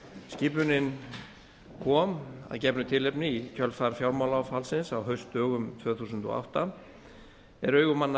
skipunin kom að gefnu tilefni í kjölfar fjármálaáfallsins á haustdögum tvö þúsund og átta er augu manna